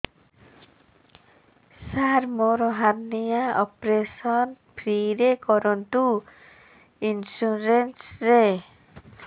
ସାର ମୋର hernia operation free ରେ କରନ୍ତୁ ଇନ୍ସୁରେନ୍ସ ରେ